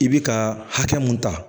I bi ka hakɛ mun ta